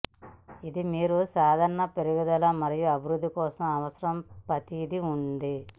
ఇది మీరు సాధారణ పెరుగుదల మరియు అభివృద్ధి కోసం అవసరం ప్రతిదీ ఉంది